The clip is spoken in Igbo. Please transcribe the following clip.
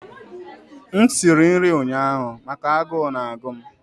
m siri nri ụnyaahụ maka agụụ na-agụ m